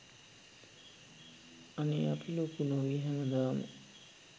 අනේ අපි ලොකු නොවී හැමදාම